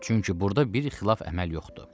Çünki burda bir xilaf əməl yoxdur.